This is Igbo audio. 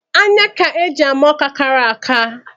Anya ka e ji ama Ọka kara aka